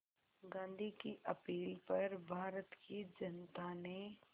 गांधी की अपील पर भारत की जनता ने